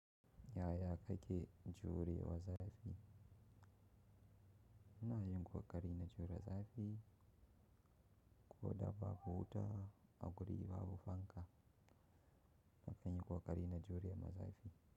Yaya kake juri wa zafi? Ina yi kokari na jure zafi, koda babu buuta a guri ba bu fanka. Na kan yi kokari na jure ma zafi.